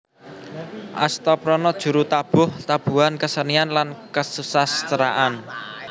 Astaprana Juru tabuh tabuhan kesenian lan kesusasteraan